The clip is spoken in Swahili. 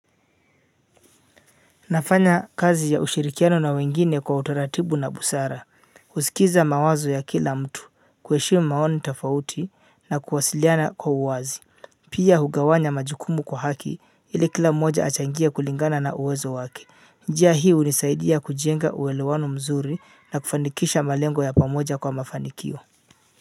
Nafanya kazi ya ushirikiano na wengine kwa utaratibu na busara, kusikiliza mawazo ya kila mtu, kuheshimu maoni tofauti na kuwasiliana kwa uwazi. Pia hugawanya majukumu kwa haki ili kila mmoja achangie kulingana na uwezo wake njia hii unisaidia kujenga uewelewano mzuri na kufanikisha malengo ya pamoja kwa mafanikio.